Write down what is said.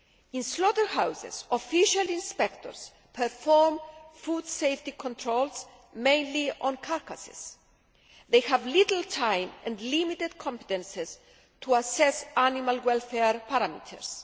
In slaughterhouses, official inspectors perform food safety controls, mainly on carcasses. They have little time and limited competences to assess animal welfare parameters.